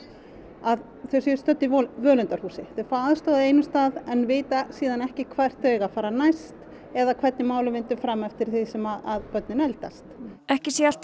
að þau séu stödd í völundarhúsi þau fá aðstoð á einum stað en vita síðan ekki hvert þau eiga að fara næst eða hvernig málum vindur fram eftir því sem börnin eldast ekki sé alltaf